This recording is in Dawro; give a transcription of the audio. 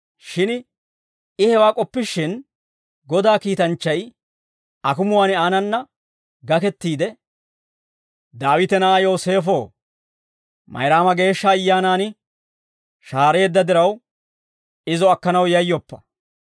Shin I hewaa k'oppishin, Godaa kiitanchchay akumuwaan aanana gakettiide, «Daawite na'aa Yooseefoo, Mayraama Geeshsha Ayyaanan shahaareedda diraw izo akkanaw yayyoppa.